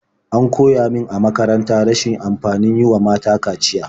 An koya min a makaranta rashin amfanin yi wa mata kaciya.